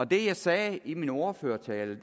det jeg sagde i min ordførertale